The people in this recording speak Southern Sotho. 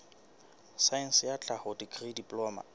saense ya tlhaho dikri diploma